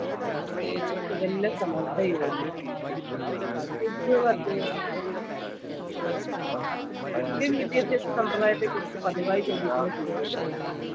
ഏർ Sukanya Samriddhi Yojana indian വിദ്യാഭ്യാസ സമ്പ്രദായത്തെ കുറിച്ച് പതിവായി ചോദിക്കുന്ന ചോദ്യങ്ങൾ